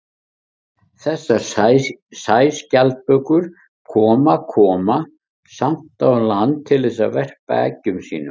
þessar sæskjaldbökur koma koma samt á land til þess að verpa eggjum sínum